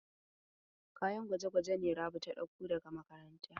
Kayan gwaje-gwaje ne Rabi ta ɗauko daga makaranta.